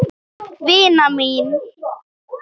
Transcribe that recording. Vina mín!